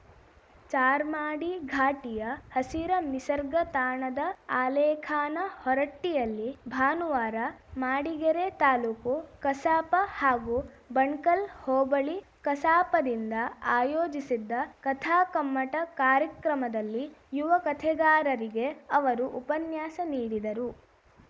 ಚಾರ್ಮಾಡಿ ಘಾಟಿಯ ಹಸಿರ ನಿಸರ್ಗ ತಾಣದ ಆಲೇಖಾನ ಹೊರಟ್ಟಿಯಲ್ಲಿ ಭಾನುವಾರ ಮಾಡಿಗೆರೆ ತಾಲೂಕು ಕಸಾಪ ಹಾಗೂ ಬಣ್ ಕಲ್‌ ಹೋಬಳಿ ಕಸಾಪದಿಂದ ಆಯೋಜಿಸಿದ್ದ ಕಥಾಕಮ್ಮಟ ಕಾರ್ಯಕ್ರಮದಲ್ಲಿ ಯುವ ಕಥೆಗಾರರಿಗೆ ಅವರು ಉಪನ್ಯಾಸ ನೀಡಿದರು